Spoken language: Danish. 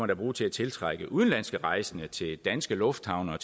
da bruge til at tiltrække udenlandske rejsende til danske lufthavne